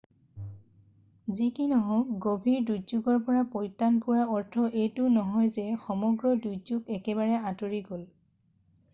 যি কি নহওক গভীৰ দুৰ্যোগৰ পৰা পৰিত্ৰান পোৱাৰ অৰ্থ এইটো নহয় যে সমগ্ৰ দুৰ্যোগ একেবাৰে আঁতৰি গ'ল